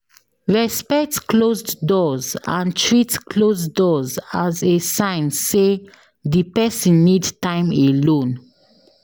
Respect closed doors and treat closed doors as a sign sey di person need time alone